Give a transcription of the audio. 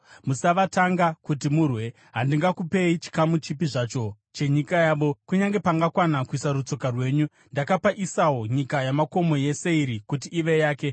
Musavatanga kuti murwe, handingakupei chikamu chipi zvacho chenyika yavo, kunyange pangakwana kuisa rutsoka rwenyu. Ndakapa Esau nyika yamakomo yeSeiri kuti ive yake.